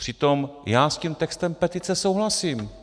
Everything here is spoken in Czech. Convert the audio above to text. Přitom já s tím textem petice souhlasím.